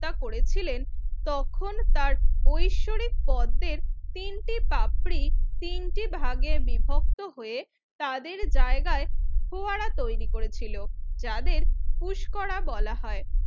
হত্যা করেছিলেন তখন তার ঐশ্বরিক পদ্মের তিনটে পাপড়ি তিনটি ভাগে বিভক্ত হয়ে তাদের জায়গায় ফোয়ারা তৈরি করেছিল যাদের পুস্করা বলা হয়